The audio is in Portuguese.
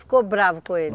Ficou bravo com ele?